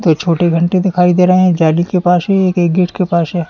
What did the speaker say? ये छोटी घंटी दिखाई दे रहीं है जाली के पास ही एक गेट के पास है।